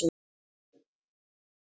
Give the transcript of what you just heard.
Og ríki hans er náð.